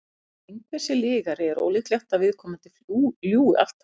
þótt einhver sé lygari er ólíklegt að viðkomandi ljúgi alltaf